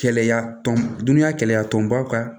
Kɛlɛya tɔn dunya kɛlɛya tɔnbaw ka